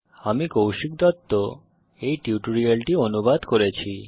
আমি কৌশিক দত্ত এই টিউটোরিয়ালটি অনুবাদ করেছি